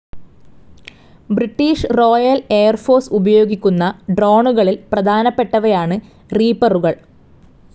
British royal air force ഉപയോഗിക്കുന്ന ഡ്രോണുകളിൽ പ്രധാനപ്പെട്ടവയാണ് റീപ്പറുകൾ.